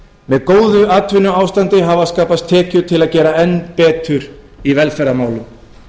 með góðu atvinnuástandi hafa skapast tekjur til að gera enn betur í velferðarmálum